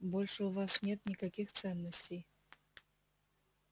больше у вас нет никаких ценностей